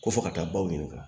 Ko fɔ ka taa baw ɲininka